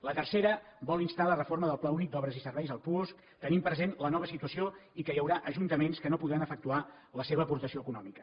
la tercera vol instar a la reforma del pla únic d’obres i serveis el puosc tenint present la nova situació i que hi haurà ajuntaments que no podran efectuar la seva aportació econòmica